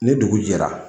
Ni dugu jɛra